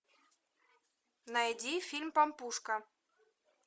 найди фильм пампушка